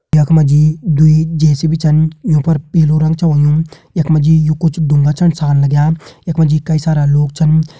यख मा जी दुई जे.सी.बी छन यूं पर पीलू रंग छ हूयों यख मा जी यू कुछ ढ़ूंगा छन सार लग्यां यख मा जी कई सारा लोग छन।